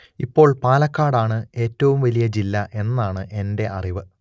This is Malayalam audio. ഇപ്പോൾ പാലക്കാട് ആണ് ഏറ്റവും വലിയ ജില്ല എന്നാണ് എന്റെ അറിവ്